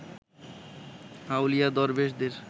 আউলিয়া দরবেশদের